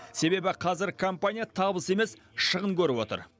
себебі қазір компания табыс емес шығын көріп отыр